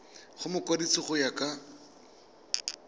go mokwadise go ya ka